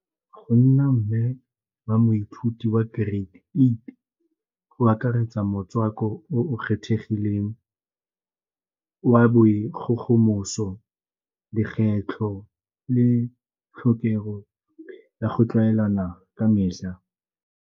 Go nna mme wa moithuti wa grade eight, go akaretsa motswako o o kgethegileng wa boikgogomoso, di le tlhokego ya go tlwaelana ka metlha.